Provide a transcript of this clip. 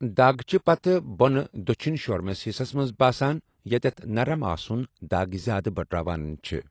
دَگ چھِ پتہٕ بۄنہٕ دٔچھُن شوُرِمِس حصس منٛز باسان یتیٚتھ نرم آسٗن دَگ زِیٛادٕ بڑراون چھٗ ۔